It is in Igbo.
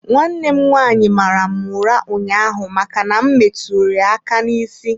Nwanne m nwaanyị mara m ụra ụnyaahụ maka na m metụ ya aka n'isi.